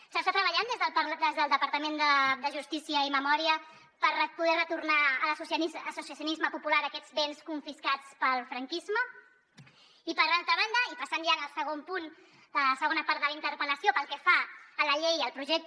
s’està treballant des del departament de justícia i memòria per poder retornar a l’associacionisme popular aquests béns confiscats pel franquisme i per altra banda i passant ja a la segona part de la interpel·lació pel que fa a la llei i al projecte